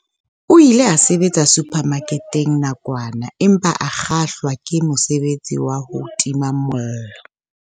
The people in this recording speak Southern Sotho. O ile a sebetsa suphamaketeng nakwana empa a kgahlwa ke mosebetsi wa ho tima mollo.